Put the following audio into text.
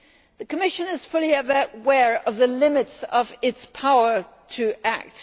The Commission is fully aware of the limits of its power to act.